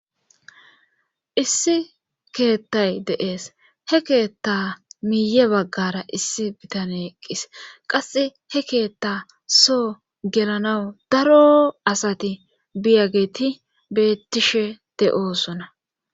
Issi keettay deees he keetta miiye baggara issi bitane eqqis qasse he keetta soo gelanawu daro asati biyageti bettishe de'osona.